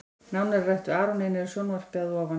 Nánar er rætt við Aron Einar í sjónvarpinu að ofan.